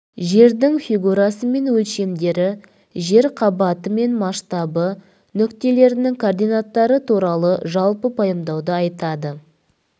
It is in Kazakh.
жердің фигурасы мен өлшемдері жер қабаты мен масштабы нүктелерінің координаттары туралы жалпы пайымдауды айтады